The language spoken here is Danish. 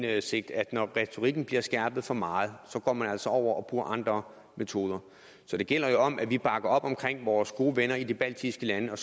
indsigt at når retorikken bliver skærpet for meget så går man altså over og bruger andre metoder så det gælder jo om at vi bakker op om vores gode venner i de baltiske lande og